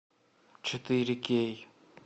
четыре кей